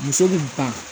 Muso min ta